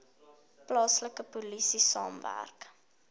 plaaslike polisie saamwerk